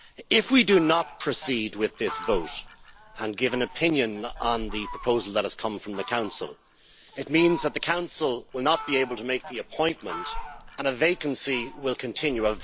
If we do not proceed with this vote and give an opinion on the proposal that has come from the Council, it means that the Council will not be able to make the appointment and a vacancy will continue.